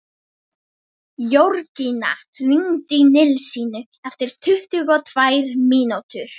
Jörgína, hringdu í Nilsínu eftir tuttugu og tvær mínútur.